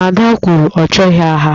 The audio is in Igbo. Ada kwuru, ọ choghị agha.